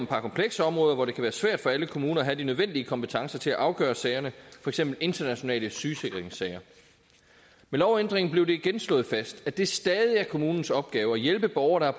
par komplekse områder hvor det kan være svært for alle kommuner at have de nødvendige kompetencer til at afgøre sagerne for eksempel internationale sygesikringssager ved lovændringen blev det igen slået fast at det stadig er kommunens opgave at hjælpe borgere der